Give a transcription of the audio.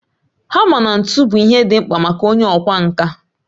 Hama na ntu bụ ihe dị mkpa maka onye ọkwá nkà